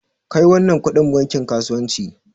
Kai wannan kudin bankin kasuwanci!